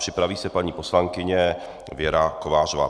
Připraví se paní poslankyně Věra Kovářová.